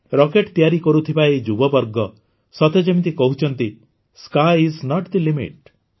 rocket ତିଆରି କରୁଥିବା ଏହି ଯୁବବର୍ଗ ସତେ ଯେମିତି କହୁଛନ୍ତି sky is not the limit